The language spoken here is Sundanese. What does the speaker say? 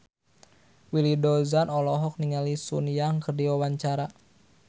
Willy Dozan olohok ningali Sun Yang keur diwawancara